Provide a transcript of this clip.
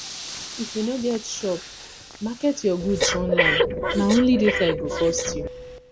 if you no get shop market your goods online na only data e go cost you